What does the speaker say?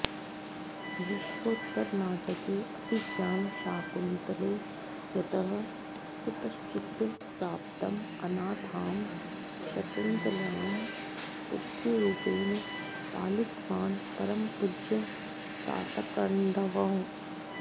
विश्वोत्तरनाटके अभिज्ञानशाकुन्तले यतः कुतश्चित् प्राप्तम् अनाथां शकुन्तलां पुत्रीरूपेण पालितवान् परमपूज्यः तातकण्वः